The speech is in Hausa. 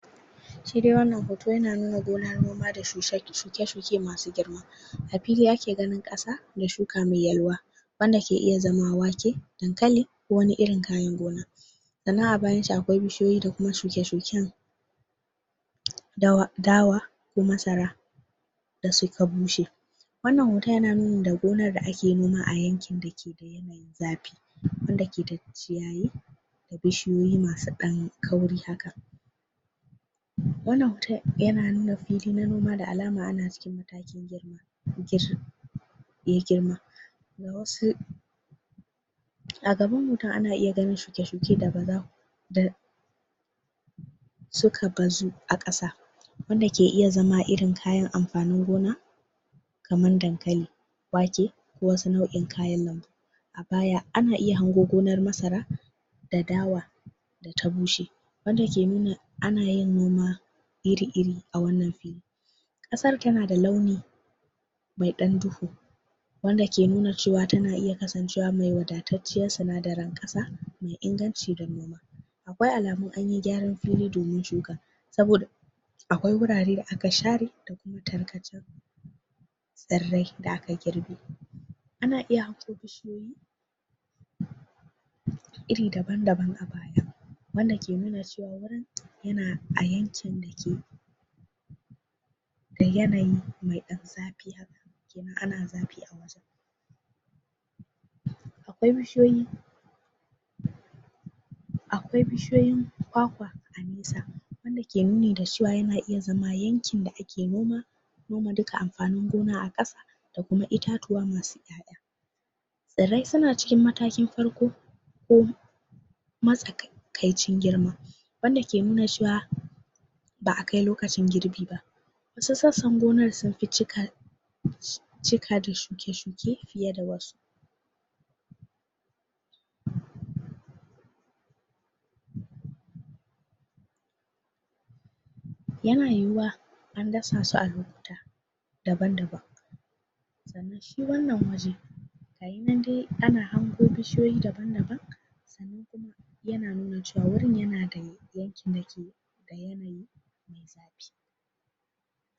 shedai wannan hoto yana nuna kaya noma da shukei da shuke shuke masu girma a fili ake ganin ƙasa da shuka me yalwa wanda ke iya zama wake dankali wani irin gona sannan abayanshi akwai bishiyoyi da kuma shuke shuken da wa ko masara da suka bushe wannan hoton yana nuni da gonan da ake noma a yakin dake zafi wanda ke da ciyayi bishiyoyi masu ɗan kauri haka wannan hoton yana nuna fili na noma da alama ana? yei girma ga wasu a gaban mutun ana iya ganinshi shuke, shuke da baza da suka bazu aƙasa wanda ke iya zama kayan amfanin gona kaman dankali wake da wasu nau'in kayan lambu baya ana iya hago gonar masara da dawa ta bushe wanda ke nuna anayin noma iri iri a wannan fili ƙasar tana da launi me ɗan duhu wanda ke nuna cewa tana iya kasancewa me wadatatciyan sina darin ƙasa me inganci da me wai alamu anyi gyaran fili domin shuka saboda akwai gurare da aka share tarkacan tsiran da aka girbe ana iya iri daban daban bayan wanda ke nuna yana ayankin dake da yanayi meɗan zafi ana zafi akwai bishi yoyin akwai bishiyoyin kwakwa a nesa wanda ke nuni da cewa yana izama yanki da ake noma noma duka amfanin gona aƙasa da kuma itatuwa masu tsirrai suna cikin matakin farko ko matsa kai kaicin girma wanda ke nuna cewa ba akai lokacin girbi ba sassan gonan sufi cika cika da shuke shuke fiye da wasu yana yuwuwa anda sasu a lokuta daban daban shi wannan waje gayinan dai ana hango bishi yoyi daban daban yana nuna cewa wurin yana da yanki